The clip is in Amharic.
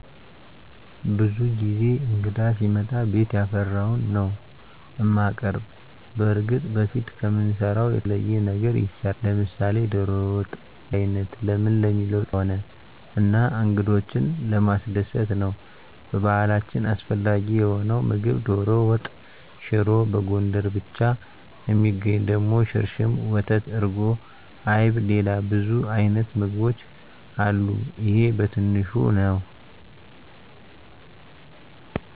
ብዙ ጊዜ እንግዳ ሲመጣ ቤት ያፈራዉን ነዉ እማቀርብ። በርግጥ በፊት ከምንሰራዉ የተለየ ነገር ይሰራል፤ ለምሳሌ ዶሮ ወጥ፣ ቀይ ወጥ፣ በያይነት ለምን ለሚለዉ ጥያቄ ደሞ እንግዳ ክቡር ስለሆነ እና እንግዶችን ለማስደሰት ነዉ። በባህላችን አስፈላጊ የሆነዉ ምግብ ዶሮ ወጥ፣ ሽሮ፣ በጎንደር ብቻ እሚገኝ ደሞ ሽርሽም፣ ወተት፣ እርጎ፣ አይብ፣ ሌላ ብዙ አይነት ምግቦች አሉ ይሄ በትንሹ ነዉ።